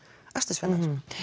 akstursfjarlægð